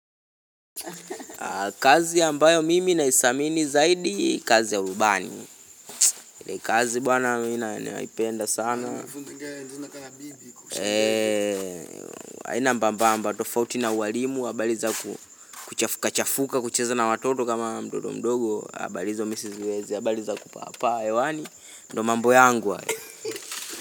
Kazi ambayo mimi naidhamini zaidi kazi ya urubani ile kazi bwana ninaipenda sana haina mbambamba tofauti na uwalimu habari za kuchafuka chafuka kucheza na watoto kama mtoto mdogo habari hizo siziwezi, habari za kupaa paa hewani, ndo mambo yangu hayo.